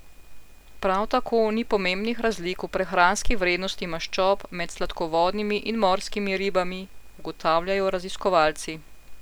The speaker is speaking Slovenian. Prav tako ni pomembnih razlik v prehranski vrednosti maščob med sladkovodnimi in morskimi ribami, ugotavljajo raziskovalci.